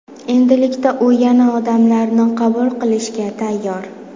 Endilikda u yana odamlarni qabul qilishga tayyor.